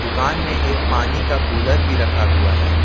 दुकान में एक पानी का कूलर भी रखा हुआ है।